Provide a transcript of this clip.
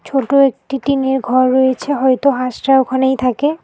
ছোট একটি টিনের ঘর রয়েছে হয়তো হাঁসরা ওখানেই থাকে।